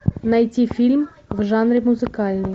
найти фильм в жанре музыкальный